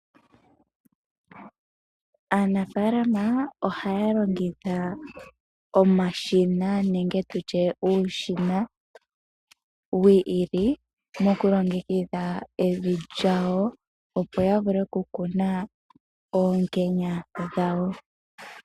Aanafaalama ohaya longitha omashina nenge tutye uushina wu ili mokulongekidha evi lyawo, opo ya vule okukuna oonkenya dhawo.